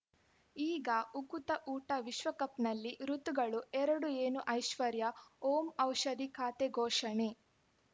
ಈಗ ಉಕುತ ಊಟ ವಿಶ್ವಕಪ್‌ನಲ್ಲಿ ಋತುಗಳು ಎರಡು ಏನು ಐಶ್ವರ್ಯಾ ಓಂ ಔಷಧಿ ಖಾತೆ ಘೋಷಣೆ